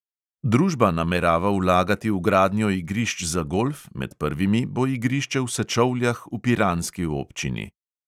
Družba namerava vlagati v gradnjo igrišč za golf, med prvimi bo igrišče v sečovljah v piranski občini.